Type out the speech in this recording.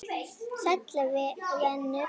Sæll venur!